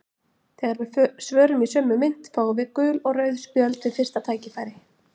Þegar við svörum í sömu mynt fáum við gul og rauð spjöld við fyrsta tækifæri.